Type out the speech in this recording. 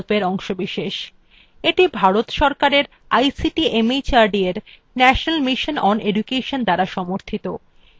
এটি ভারত সরকারের ict mhrd এর national mission on education দ্বারা সমর্থিত